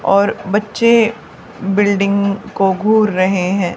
और बच्चे बिल्डिंग को घुर रहे हैं।